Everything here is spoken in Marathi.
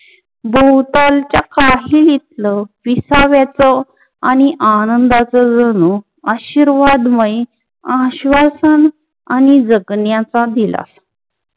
भोवतालचा काहीत्ल विसाव्याच आणि आनंदाच जणू आशीर्वादमायी आश्वासन आणि जगण्याचा दिला.